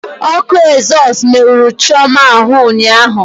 Ọkụ ezọsụ merụrụ Chioma ahụ ụnyaahụ.